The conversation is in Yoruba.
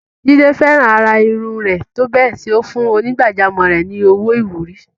Jide fẹ́ràn àrà irun rẹ̀ tó bẹ́ẹ̀ tí ó fún onígbàjámọ̀ rẹ̀ ní owó ìwúrí.